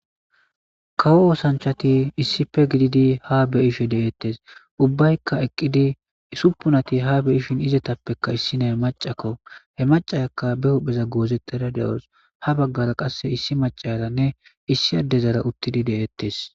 kawo oosanchati issife gididi ha beyishe deeettes ubbaykka eqqidi suppunati ha beishin izetappekka issina he macakko he macayakka be huhpheza goozetteda de7os ha baggara qasse issi macalanne issi addezara uttidi deettes